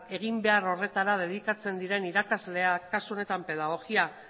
eginbehar horretara dedikatzen diren irakasleak kasu honetan pedagogia